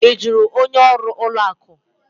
Ị jụrụ onye ọrụ ụlọ akụ?